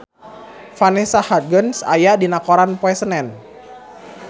Vanessa Hudgens aya dina koran poe Senen